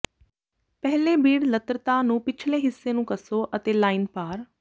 ਪਹਿਲੇ ਬੀਡ ਲਤ੍ਤਾ ਨੂੰ ਪਿਛਲੇ ਹਿੱਸੇ ਨੂੰ ਕੱਸੋ ਅਤੇ ਲਾਈਨ ਪਾਰ